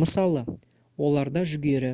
мысалы оларда жүгері